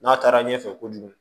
N'a taara ɲɛfɛ kojugu